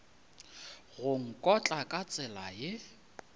go nkotla ka tsela ye